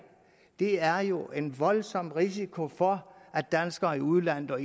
er jo en voldsom risiko for at danskere i udlandet og